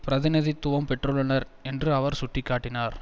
பிரதிநிதித்துவம் பெற்றுள்ளனர் என்று அவர் சுட்டி காட்டினார்